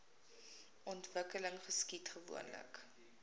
ontwikkeling geskied gewoonlik